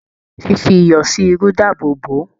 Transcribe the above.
Fífi iyọ sí irú dáàbò bo.